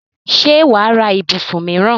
ṣé wà á ra ibùsùn míìràn?